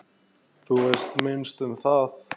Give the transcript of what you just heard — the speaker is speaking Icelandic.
Þú veist minnst um það.